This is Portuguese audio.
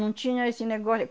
Não tinha esse negócio.